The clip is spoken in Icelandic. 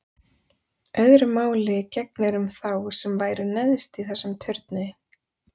Öðru máli gegnir um þá sem væru neðst í þessum turni.